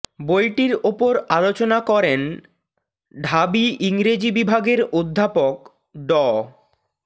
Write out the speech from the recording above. বইটির ওপর আলোচনা করেন ঢাবি ইংরেজি বিভাগের অধ্যাপক ড